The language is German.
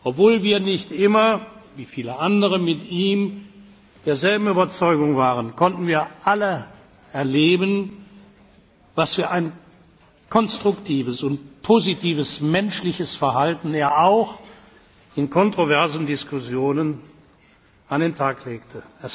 hat. Obwohl wir nicht immer wie viele andere mit ihm derselben Überzeugung waren, konnten wir alle erleben, was für ein konstruktives und positives menschliches Verhalten er auch in kontroversen Diskussionen an den Tag